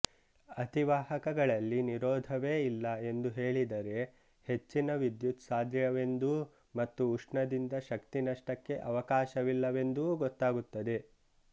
ಅತಿವಾಹಕಗಳಲ್ಲಿ ನಿರೋಧವೇ ಇಲ್ಲ ಎಂದು ಹೇಳಿದರೆ ಹೆಚ್ಚಿನ ವಿದ್ಯುತ್ ಸಾಧ್ಯವೆಂದೂ ಮತ್ತು ಉಷ್ಣದಿಂದ ಶಕ್ತಿ ನಷ್ಟಕ್ಕೆ ಅವಕಾಶವಿಲ್ಲವೆಂದೂ ಗೊತ್ತಾಗುತ್ತದೆ